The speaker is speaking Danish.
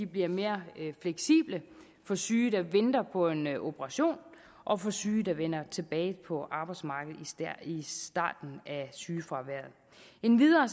bliver mere fleksible for syge der venter på en operation og for syge der vender tilbage på arbejdsmarkedet i starten af sygefraværet endvidere